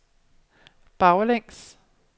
baglæns